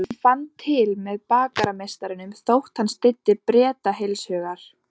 Hann fann til með bakarameistaranum þótt hann styddi Breta heilshugar.